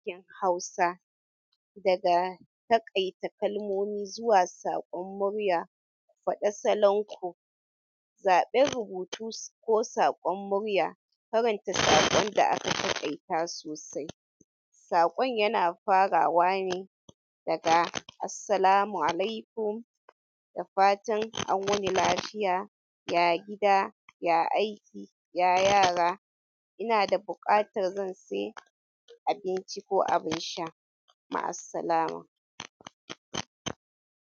Haiki Hausa daga taƙaita kalmomi zuwa saƙon murya, faɗa salon ku, zaɓen rubutu ko saƙon murya, faranta saƙon da aka taƙaita sosai. Saƙon yana farawa ne daga "Assalamu alaikum" da fatan an wuni lafiya, ya gida, ya aiki, ya yara, ina da buƙatar zan sai abinci ko abin sha. Ma'assalamah.